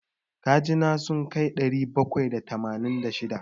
Kaji na sun kai ɗari bakwai da tamanin da shida.